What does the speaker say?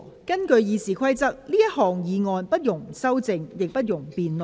根據《議事規則》，這項議案不容修正，亦不容辯論。